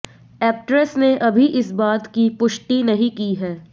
actress ने अभी इस बात की पुष्टि नही की है